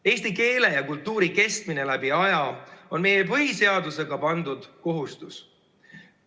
Eesti keele ja kultuuri kestmine läbi aja on meile põhiseadusega pandud kohustus.